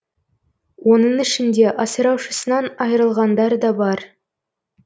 оның ішінде асыраушысынан айырылғандар да бар